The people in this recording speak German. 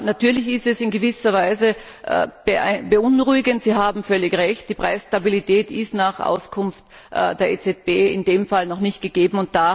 Natürlich ist es in gewisser Weise beunruhigend. Sie haben völlig Recht Die Preisstabilität ist nach Auskunft der EZB in dem Fall noch nicht gegeben.